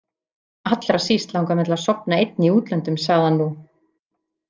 Allra síst langar mig til að sofa einn í útlöndum, sagði hann nú.